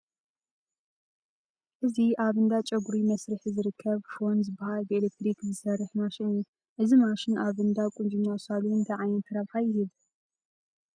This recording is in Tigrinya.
እዚ ኣብ እንዳ ጨጉሪ መስርሒ ዝርከብ ፎን ዝበሃል ብኤለክትሪክ ዝሰርሕ ማሽን እዩ፡፡ እዚ ማሽን ኣብ እንዳ ቁንጅና ሳሎን እንታይ ዓይነት ረብሓ ይህብ?